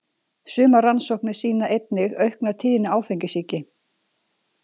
Sumar rannsóknir sýna einnig aukna tíðni áfengissýki.